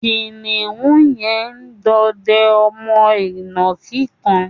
Kìnìún yẹn ń dọdẹ ọmọ ìnàkí kan